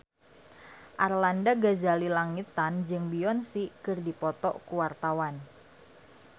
Arlanda Ghazali Langitan jeung Beyonce keur dipoto ku wartawan